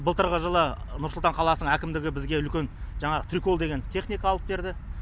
былтырғы жылы нұрсұлтан қаласының әкімдігі бізге үлкен жаңағы трикол деген техника алып берді